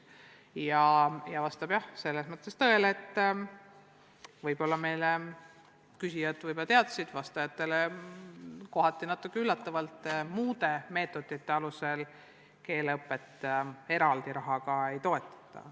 Ja vastab tõele – küsijad ehk seda teadsid, vastajatele tuli see natuke üllatavalt –, et muude meetodite kasutamise korral keeleõpet eraldi rahaga ei toetata.